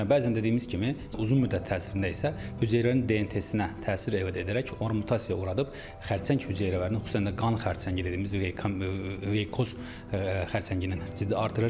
Bəzən dediyimiz kimi, uzun müddət təsirində isə hüceyrənin DNT-sinə təsir edərək onu mutasiyaya uğradıb xərçəng hüceyrələrini xüsusilə də qan xərçəngi dediyimiz, leykkoz xərçəngini ciddi artırır.